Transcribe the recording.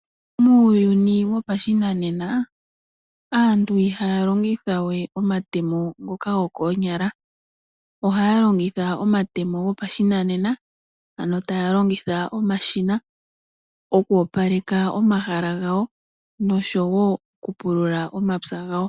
Muuyuni wopashinanena aantu ihaya longitha wee omatemo ngoka go koonyala, ohaya longitha omatemo gopashinanena ano taya longitha omashina oku opaleka omahala gawo nosho wo okupulula omapya gawo.